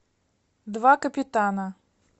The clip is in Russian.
два капитана